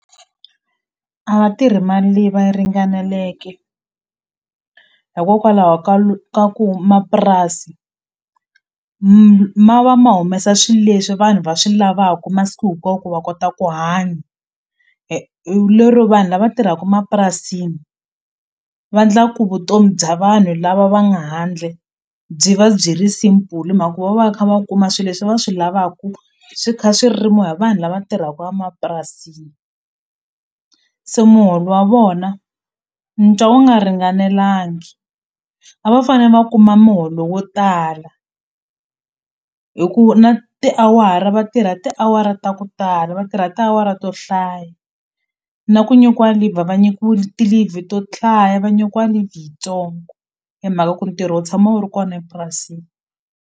A va tirhi mali leyi va yi ringaneleke hikokwalaho ka ka ku mapurasi ma va ma humesa swi leswi vanhu va swi lavaku masiku hinkwawo ku va kota ku hanya lero vanhu lava tirhaku mapurasini va ndla ku vutomi bya vanhu lava va nga handle byi va byi ri simple hi mhaka ku va va kha va kuma swi leswi va swi lavaku swi kha swi rimiwa hi vanhu lava tirhaka a mapurasini se muholo wa vona ni twa wu nga ringanelangi a va fane va kuma muholo wo tala hi ku na tiawara vatirha ti awara ta ku tala va tirha tiawara to hlaya na ku nyikiwa leave va nyikiwi ti-leave to hlaya va nyikiwa yitsongo hi mhaka ku ntirho wu tshama wu ri kona epurasini.